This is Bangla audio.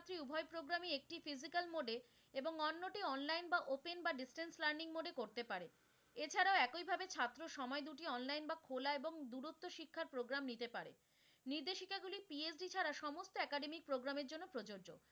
এবং অন্যটি online বা open বা distance learning mode এ করতে পারে, এছাড়া একইভাবে ছাত্র সময় দুটি online বা খোলা এবং দূরত্ব শিক্ষার program নিতে পারে। নির্দেশিকাগুলি PhD ছাড়া সমস্ত academic programme এর জন্য প্রযোজ্য।